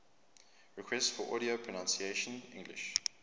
requests for audio pronunciation english